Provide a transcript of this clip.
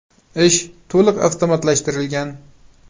Ish to‘liq avtomatlashtirilgan.